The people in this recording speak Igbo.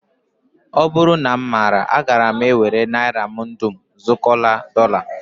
Ọ bụrụ na m maara agaara m ewere naira m dum zụkọrọ dọla